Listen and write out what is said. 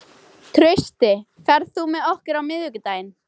Trausti, ferð þú með okkur á miðvikudaginn?